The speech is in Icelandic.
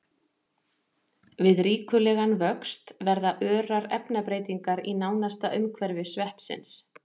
Við ríkulegan vöxt verða örar efnabreytingar í nánasta umhverfi sveppsins.